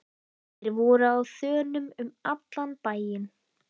Þeir voru á þönum um allan bæinn.